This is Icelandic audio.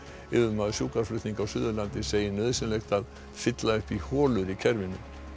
yfirmaður sjúkraflutninga á Suðurlandi segir nauðsynlegt að fylla upp í holur í kerfinu